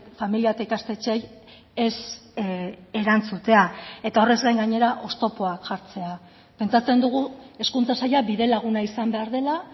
familia eta ikastetxeei ez erantzutea eta horrez gain gainera oztopoak jartzea pentsatzen dugu hezkuntza saila bidelaguna izan behar dela